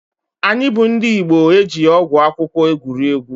Anyị bụ ndị Igbo ejighị ọgwụ akwụkwọ egwuri egwu.